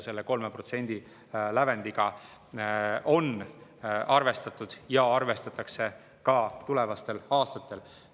Selle 3% lävendiga on arvestatud ja arvestatakse ka tulevastel aastatel.